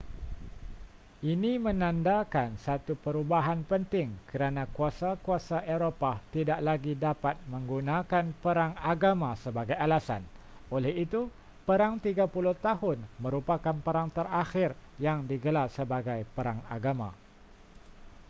ini menandakan satu perubahan penting kerana kuasa-kuasa eropah tidak lagi dapat menggunakan perang agama sebagai alasan oleh itu perang tiga puluh tahun merupakan perang terakhir yang digelar sebagai perang agama